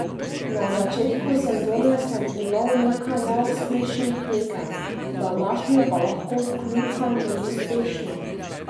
Na začetku sezone sem imel nekaj neuspešnih tekem, današnjo pa lahko odkljukamo kot uspešno.